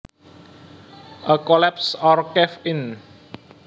A collapse or cave in